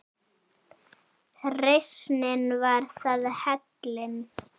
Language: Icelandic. Reisnin var það, heillin